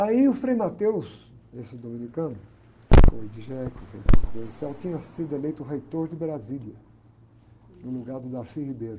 Aí o Frei, esse dominicano, foi, foi, tinha sido eleito reitor de Brasília, no lugar do Darcy Ribeiro.